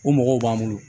O mɔgɔw b'an bolo